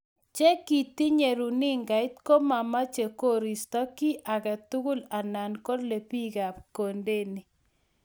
Che kitinye runingait ko mamoche kosirto kiy age tugul anan kole bikab kondeni.